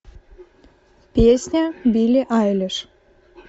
песня билли айлиш